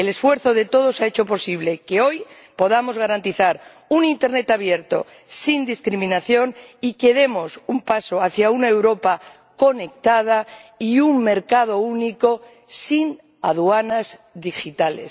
El esfuerzo de todos ha hecho posible que hoy podamos garantizar un internet abierto, sin discriminación, y que demos un paso hacia una Europa conectada y un mercado único sin aduanas digitales.